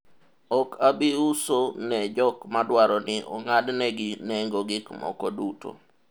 ok abi uso ne jok madwaro ni ong'ad negi nengo gik moko duto